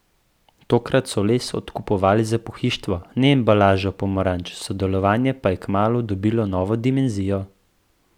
Tokrat so les odkupovali za pohištvo, ne embalažo pomaranč, sodelovanje pa je kmalu dobilo novo dimenzijo.